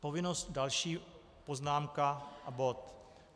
Povinnost - další poznámka a bod.